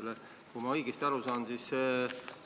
Kas komisjonis